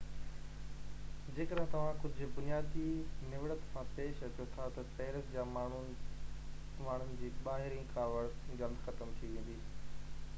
جيڪڏهن توهان ڪجهہ بنيادي نوڙت سان پيش اچو ٿا تہ پئرس جا ماڻهن جي ٻاهرين ڪاوڙ جلدي ختم ٿي ويندي